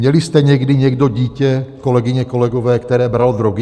Měli jste někdy někdo dítě, kolegyně, kolegové, které bralo drogy?